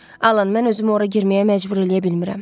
Alan, mən özümü ora girməyə məcbur eləyə bilmirəm.